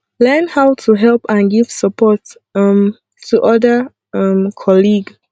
learn how to help and give support um to oda um colleague